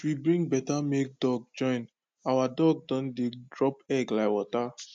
since we bring better male duck join our duck don dey drop egg like water